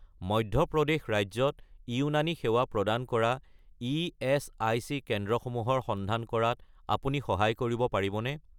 মধ্য প্ৰদেশ ৰাজ্যত ইউনানী সেৱা প্ৰদান কৰা ইএচআইচি কেন্দ্ৰসমূহৰ সন্ধান কৰাত আপুনি সহায় কৰিব পাৰিবনে?